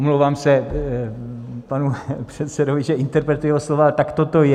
Omlouvám se panu předsedovi, že interpretuji jeho slova, ale takto to je.